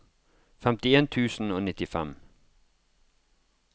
femtien tusen og nittifem